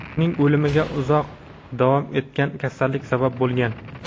Uning o‘limiga uzoq davom etgan kasallik sabab bo‘lgan.